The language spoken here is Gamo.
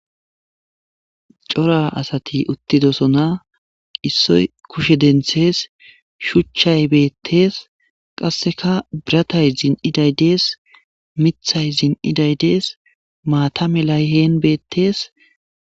Cora asati uttidosona issoy kushe denttes, shuchchay beettes, qassekka biratay zin''iday des, miththay zin''iday des ,maata melay hen beettes,